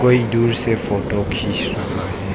कोई दूर से फोटो खींच रहा है।